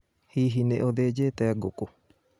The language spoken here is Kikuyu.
Hihi nĩ uthĩnjĩte ngũkũ?